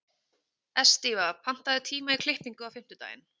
Estiva, pantaðu tíma í klippingu á fimmtudaginn.